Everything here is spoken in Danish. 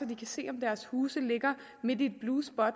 kan se om deres hus ligger midt i et blue spot og